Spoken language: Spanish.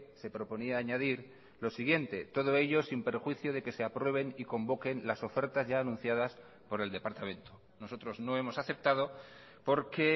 se proponía añadir lo siguiente todo ello sin perjuicio de que se aprueben y convoquen las ofertas ya anunciadas por el departamento nosotros no hemos aceptado porque